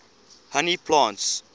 honey plants